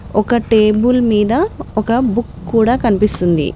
ఒక టేబుల్ మీద ఒక బుక్ కూడా కనిపిస్తుంది.